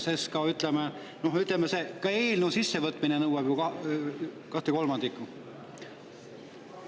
Ka eelnõu sissevõtmine nõuab ju kahekolmandikulist.